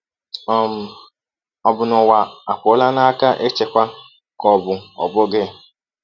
um Ọ bụ na ụwa apụọla n’aka ịchịkwa, ka ọ bụ ọ bụghị?